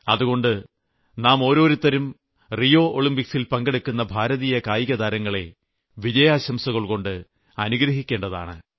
അതുകൊണ്ട് നാം ഓരോരുത്തരും റിയോ ഒളിംമ്പിക്സിൽ പങ്കെടുക്കുന്ന ഭാരതീയ കായികതാരങ്ങളെ വിജയാശംസകൾകൊണ്ട് അനുഗ്രഹിക്കേണ്ടതാണ്